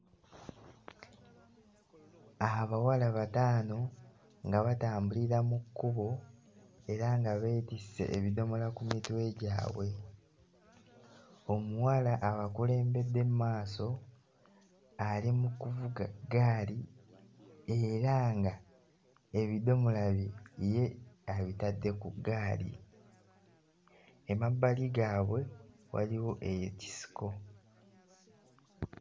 Abawala bataano nga batambulira mu kkubo era nga beetisse ebidomola ku mitwe gyabwe. Omuwala abakulembedde mmaaso ali mu kuvuga ggaali era nga ebidomola bye ye abitadde ku ggaali. Emabbali gaabwe waliwo ekisiko.